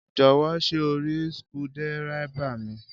Jò̩wó̩ s̩é o rí skudé̩eré̩bà mi?